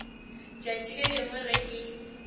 tšatši le lengwe ge ke